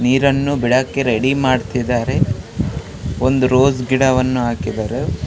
ನೀರನ್ನು ಬಿಡಕ್ಕೆ ರೆಡಿ ಮಾಡ್ತಿದ್ದಾರೆ ಒಂದು ರೋಜ್ ಗಿಡವನ್ನು ಹಾಕಿದ್ದಾರೆ .